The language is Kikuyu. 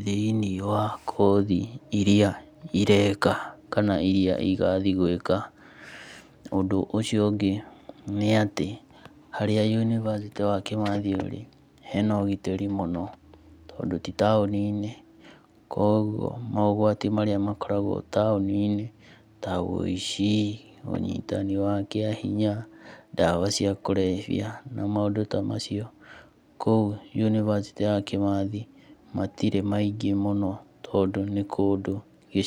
thĩiniĩ wa kothi iria ireka kana iria igathiĩ gwĩka. Ũndũ ũcio ũngĩ nĩ atĩ harĩa yunibacĩtĩ wa Kĩmathi ũrĩ hena ũgitĩri mũno, tondũ ti taũni-inĩ, koguo maũgwati marĩa makoragwo taũni-inĩ ta makoragwo taũni-inĩ ta ũici, ũnyitani wa kĩahinya, ndawa cia kũrebia, na maũndũ ta macio, kũu yunibacĩtĩ ya Kĩmathi matirĩ maingĩ mũno tondũ nĩ kũndũ gĩcagi-inĩ.